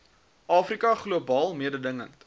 afrika globaal mededingend